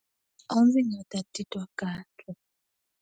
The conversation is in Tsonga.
A ndzi nga ta titwa kahle.